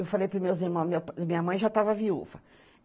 Eu falei para os meus irmãos, meu minha mãe já estava viúva.